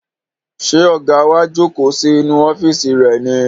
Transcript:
Ṣé ọ̀gá wa jókòó sí inú ọ́fíìsì rẹ̀ ni?